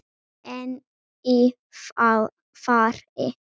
En í fari